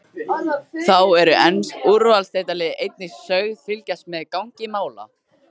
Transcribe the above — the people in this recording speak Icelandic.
Þá eru ensk úrvalsdeildarlið einnig sögð fylgjast með gangi mála.